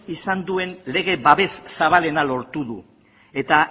izan duen lege babes zabalena lortu du eta